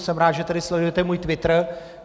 Jsem rád, že tady sledujete můj Twitter.